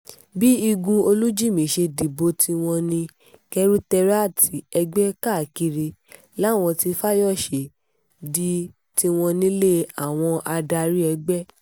bí igun olújímì ṣe dìbò tiwọn ní kẹ́rùtéràti ẹgbẹ́ káàkiri làwọn tí fáyọ́ṣe di tiwọn nílé àwọn adarí ẹgbẹ́